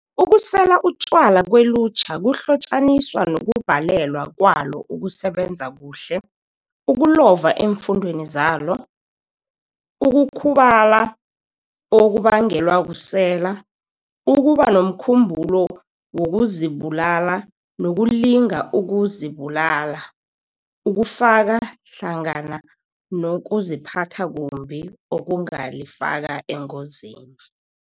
Ukusela utjwala kwelutjha kuhlotjaniswa nokubhalelwa kwalo ukusebenza kuhle, ukulova eemfundweni zalo, ukukhubala okubangelwa kusela, ukuba nomkhumbulo wokuzibulala nokulinga ukuzibulala okufaka hlangana nokuziphatha kumbi okungalifaka engozini.